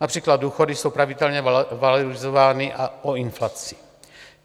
Například důchody jsou pravidelně valorizovány o inflaci.